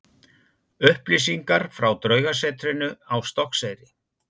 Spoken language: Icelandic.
Upplýsingar frá Draugasetrinu á Stokkseyri.